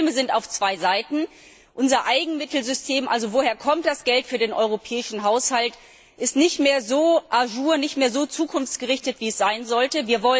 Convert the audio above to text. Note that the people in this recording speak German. Die Probleme sind auf zwei Seiten Unser Eigenmittelsystem also woher das Geld für den europäischen Haushalt kommt ist nicht mehr so nicht mehr so zukunftsgerichtet, wie es sein sollte.